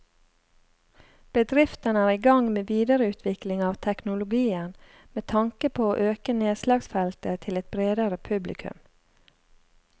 Bedriften er i gang med videreutvikling av teknologien med tanke på å øke nedslagsfeltet til et bredere publikum.